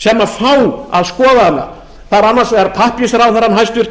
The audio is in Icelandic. sem fá að skoða hana það er annars vegar pappírsráðherrann hæstvirtur í